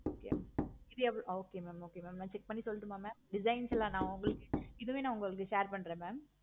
இது எவ்வளோ okay mam okay நா check பண்ணிட்டு சொல்லட்டுமா mam designs ல நா எல்லாம் உங்களுக்கு இது வேணா உங்களுக்கு share பன்ரே mam